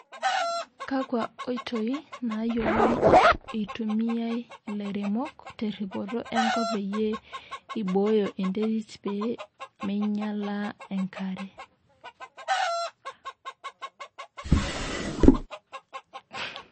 kakwa oitoi nayioloi itumiai ilairemok teripoto enkop peyie eiboyo enterit pemeinyala enkare